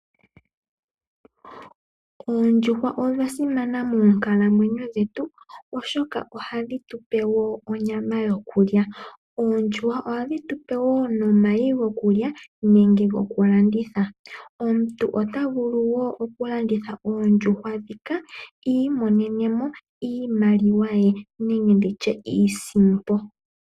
Oondjuhwa odha simana moonkalamwenyo dhetu oshoka ohadhi tupe onyama yokulya . Oondjuhwa ohadhi tupe wo omayi gokulya nenge gokulanditha . Omuntu ota vulu wo okulanditha oondjuhwa ndhika iimonene mo iimaliwa